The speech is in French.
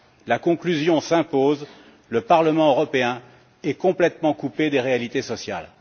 La conclusion s'impose le Parlement européen est complètement coupé des réalités sociales.